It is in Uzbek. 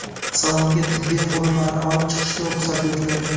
Salonga tibbiy qurilmalarni olib chiqishga ruxsat etiladi.